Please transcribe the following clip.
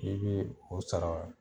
I be o sara